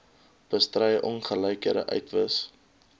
bestry ongelykhede uitwis